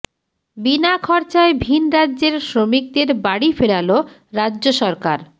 বিনা খরচায় ভিন রাজ্যের শ্রমিকদের বাড়ি ফেরাল রাজ্য সরকার